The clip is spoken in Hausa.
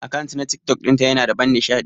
Akant na TikTok dinta Yana da ban nishadi.